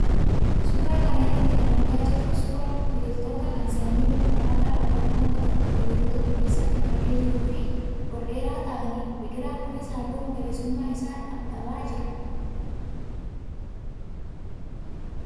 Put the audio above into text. Suuraa kana irraa kan argaa jirru suuraa biqiloota kan sanyii wal fakkaataa qaban bakka tokko ooyiruu tokko keessatti margee jiruu fi ol dheeraa ta'anidha. Biqilaan kunis halluu magariisummaa isaa dhabaa jira.